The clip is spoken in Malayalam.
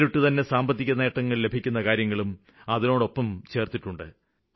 നേരിട്ടുതന്നെ സാമ്പത്തികനേട്ടങ്ങള് ലഭിക്കുന്നകാര്യങ്ങളും അതിനോടൊപ്പം ചേര്ത്തിട്ടുണ്ട്